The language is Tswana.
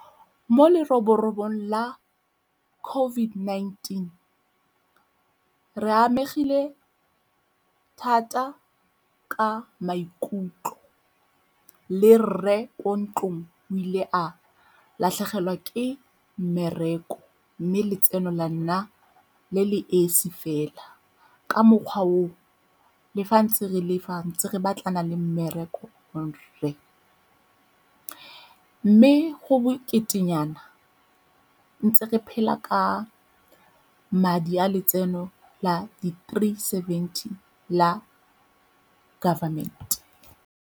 Mo leroborobo la COVID-19 re amegile thata ka maikutlo le rre ko ntlong o ile a latlhegelwa ke mmereko, mme letseno la nna le le esi fela. Ka mokgwa oo, le fa ntse re le fa ntse re batlana le mmereko. Mme go bokete nyana ntse re phela ka madi a letseno la di three seventy la government.